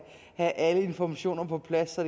alle informationer på plads så